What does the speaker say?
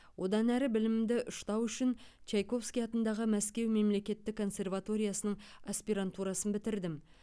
одан әрі білімімді ұштау үшін чайковский атындағы мәскеу мемлекеттік консерваториясының аспирантурасын бітірдім